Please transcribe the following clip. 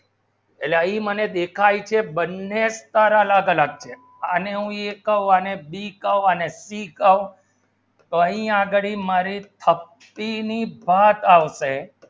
લઈ મને દેખાઈ શે બન્ને સારા લાધા લાગશે અને a કહું અને b કહું અને c કહું તાઈ આગળી મારે થપ્પી ની વાત આવશે